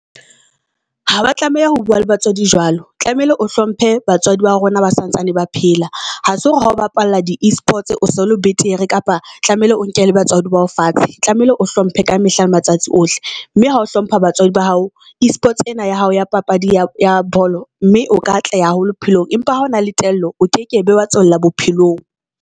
Ha ba tlameha ho bua le batswadi jwalo tlamehile o hlomphe batswadi ba rona ba santsane ba phela. Ha se hore ha o bapalla di e-sports, o so le betere kapa tlamehile o nkele batswadi ba hao fatshe. Tlamehile o hlomphe ka mehla le matsatsi ohle mme ha o hlompha batswadi ba hao e-sports ena ya hao ya papadi ya bolo mme o ka atleha haholo bophelong. Empa ha o na le tello, o kekebe wa tswella bophelong.